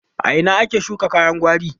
A ina ake shuka kayan gwari?